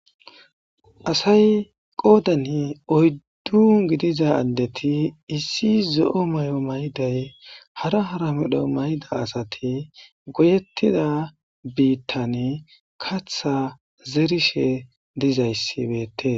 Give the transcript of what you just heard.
asay qoodani oyddun gidiza addeti issi zo7o may7o mayday hara hara medho mayda asati goyettida biittani katha zerishe dizayssibeete